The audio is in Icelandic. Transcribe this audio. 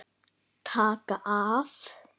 Taka af.